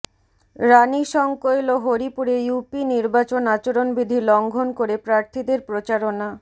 রানীশংকৈল ও হরিপুরে ইউপি নির্বাচন আচরণবিধি লঙ্ঘন করে প্রার্থীদের প্রচারণা